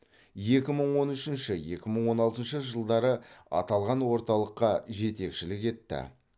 екі мың он үшінші екі мың он алтыншы жылдары аталған орталыққа жетекшілік етті